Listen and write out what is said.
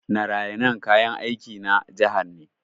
Narayanan kayan aiki na jihar ne.